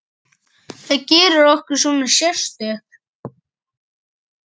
Hvað gerir okkur svona sérstök?